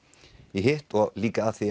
í hitt líka af því